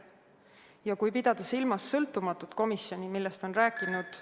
Ja kui pidada silmas sõltumatut komisjoni, millest on rääkinud ...